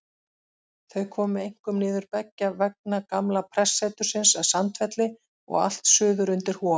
Þau komu einkum niður beggja vegna gamla prestsetursins að Sandfelli og allt suður undir Hof.